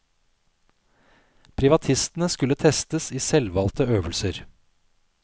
Privatistene skulle testes i selvvalgte øvelser.